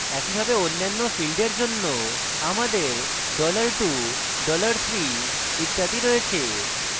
একইভাবে অন্যান্য ফীল্ডের জন্য আমাদের $2 $3 ইত্যাদি রয়েছে